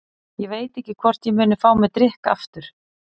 Ég veit ekki hvort ég muni fá mér drykk aftur.